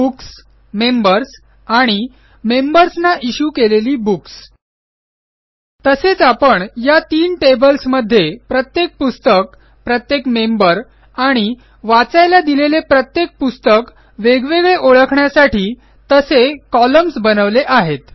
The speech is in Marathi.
बुक्स मेंबर्स आणि मेंबर्स ना इश्यू केलेली बुक्स तसेच आपण या तीन टेबल्स मध्ये प्रत्येक पुस्तक प्रत्येक मेंबर आणि वाचायला दिलेले प्रत्येक पुस्तक वेगवेगळे ओळखण्यासाठी तसे कॉलम्न्स बनवले आहेत